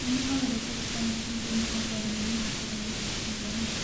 mane owere kod Sam chieng' joma oherore mar Valentine higa ni